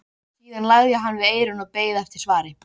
Síðan lagði hann við eyrun og beið eftir svari.